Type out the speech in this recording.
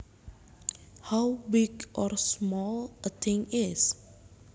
How big or small a thing is